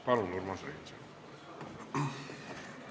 Palun, Urmas Reinsalu!